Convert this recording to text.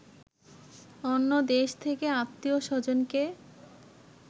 অন্য দেশ থেকে আত্মীয় স্বজনকে